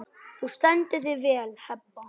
Þú stendur þig vel, Heba!